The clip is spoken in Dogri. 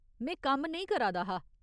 में कम्म नेईं करा दा हा।